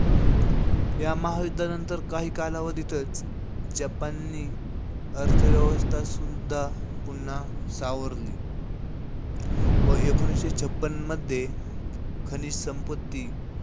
या महायुद्धानंतर काही कालावधीतच जपाननी अर्थव्यवस्था सुद्धा पुन्हा सावरली. व एकोणीशे छपन्न मध्ये, खनिज संपत्ती,